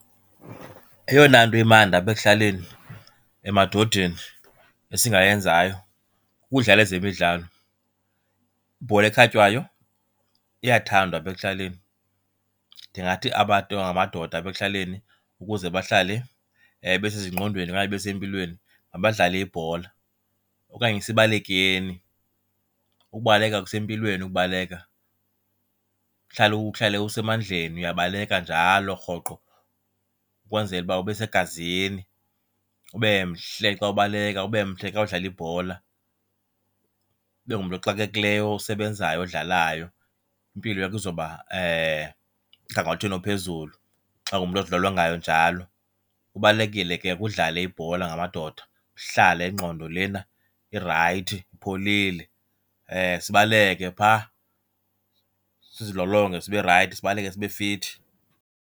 Eyona nto imandi apha ekuhlaleni emadodeni esingayenzayo kukudlala ezemidlalo. Ibhola ekhatywayo iyathandwa apha ekuhlaleni. Ndingathi abantu abangamadoda apha ekuhlaleni ukuze bahlale besezingqondweni okanye besempilweni mabadlale ibhola okanye sibalekeni. Ukubaleka kusempilweni ukubaleka, uhlale uhlale usemandleni uyabaleka njalo rhoqo ukwenzela uba ube segazini. Ube mhle xa ubaleka, ube mhle xa udlala ibhola. Ube ngumntu oxakekileyo, osebenzayo, odlalayo. Impilo yakho izoba mgangathweni ophezulu xa ungumntu ozilolongayo njalo. Kubalulekile ke udlale ibhola ngamadoda, uhlale ingqondo lena irayithi, ipholile. Sibaleke phaa, sizilolonge sibe rayithi. Sibaleke sibe fithi.